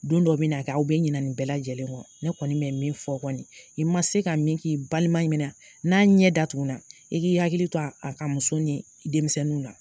Don dɔ bi na kɛ aw bɛ ɲina nin bɛɛ lajɛlen kɔ ne kɔni bɛ min fɔ kɔni, i ma se ka min k'i balima min na, n'a ɲɛ datugu na, i k'i hakili to a ka muso ni denmisɛnnu na.